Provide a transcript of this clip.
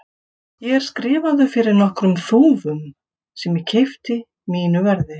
Ég er skrifaður fyrir nokkrum þúfum, sem ég keypti mínu verði.